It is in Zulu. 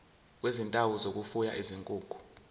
kwezindawo zokufuya izinkukhu